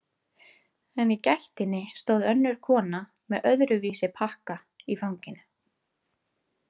En í gættinni stóð önnur kona með öðruvísi pakka í fanginu.